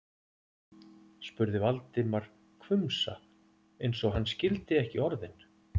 spurði Valdimar, hvumsa eins og hann skildi ekki orðin.